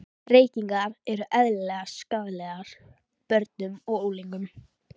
Reykingar eru eðlilegar skaðlegar börnum og unglingum.